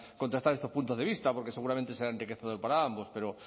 contrastar estos puntos de vista porque seguramente será enriquecedor para ambos pero